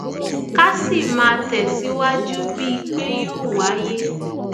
ká sì máa tẹsíwájú bíi pé yóò wáyé